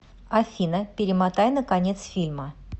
афина перемотай на конец фильма